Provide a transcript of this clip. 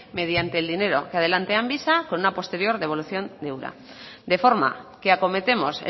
mediante el dinero que adelante amvisa con una posterior devolución de ura de forma que acometemos